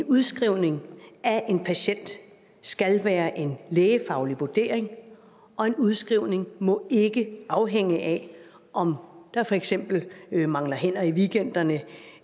udskrivning af en patient skal være en lægefaglig vurdering og en udskrivning må ikke afhænge af om der for eksempel mangler hænder i weekenderne